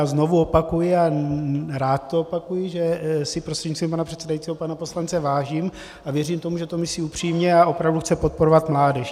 A znovu opakuji, a rád to opakuji, že si prostřednictvím pana předsedajícího pana poslance vážím, a věřím tomu, že to myslí upřímně a opravdu chce podporovat mládež.